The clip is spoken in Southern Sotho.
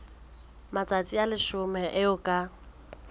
matsatsi a leshome eo ka